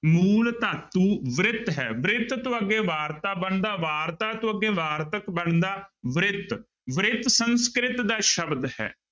ਮੂਲ ਧਾਤੂ ਬ੍ਰਿਤ ਹੈ ਬ੍ਰਿਤ ਤੋਂ ਅੱਗੇ ਵਾਰਤਾ ਬਣਦਾ, ਵਾਰਤਾ ਤੋਂ ਅੱਗੇ ਵਾਰਤਕ ਬਣਦਾ ਬ੍ਰਿਤ ਬ੍ਰਿਤ ਸੰਸਕ੍ਰਿਤ ਦਾ ਸ਼ਬਦ ਹੈ।